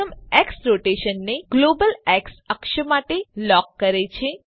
પ્રથમ એક્સ રોટેશનને ગ્લોબલ એક્સ અક્ષ માટે લોક કરે છે